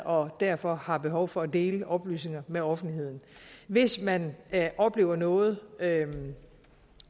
og derfor har behov for at dele oplysninger med offentligheden hvis man oplever noget